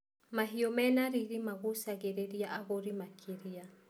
Mahiũ mene riri magucagĩrĩria agũri makĩria.